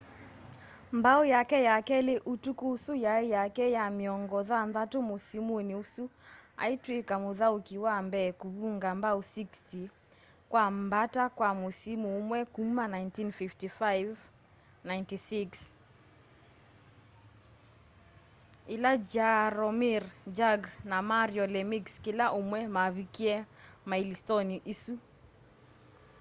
mbao yake ya keli ya utuku ũsu yai yake ya miongo thanthatu musimuni usu aitwika muthauki wa mbee kuvunga mbao 60 kwa mbata kwa musimu umwe kuma 1955-96 ila jaromir jagr na mario lemieux kila umwe mavikie mailistoni isu